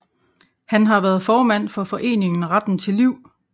Han har været formand for foreningen Retten til Liv